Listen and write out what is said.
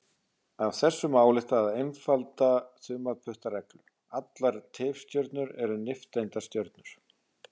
Af þessu má álykta einfalda þumalputtareglu: Allar tifstjörnur eru nifteindastjörnur.